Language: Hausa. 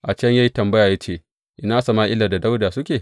A can ya yi tambaya ya ce, Ina Sama’ila da Dawuda suke?